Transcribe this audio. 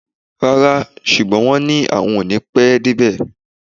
Rárá, ṣùgbọ́n wọ́n ní àwọn ò ní pẹ́ débí